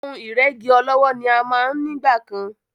Ohun ìrẹ́gí ọlọ́wọ́ ni a máa ń nígbà kan.